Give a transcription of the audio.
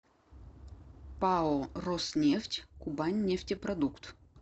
пао роснефть кубаньнефтепродукт